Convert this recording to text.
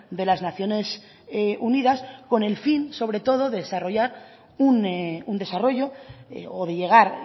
de las naciones unidas con el fin sobre todo de desarrollar un desarrollo o de llegar